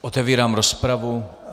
Otevírám rozpravu.